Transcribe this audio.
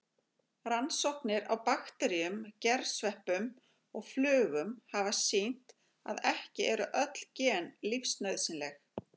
Rannsóknir á bakteríum, gersveppum og flugum hafa sýnt að ekki eru öll gen lífsnauðsynleg.